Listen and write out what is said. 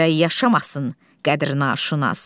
Gərək yaşamasın qədrnaşünas.